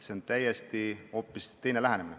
See on hoopis teine lähenemine.